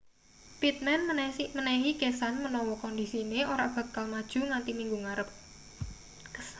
pittman menehi kesan menawa kondisine ora bakal maju nganthi minggu ngarep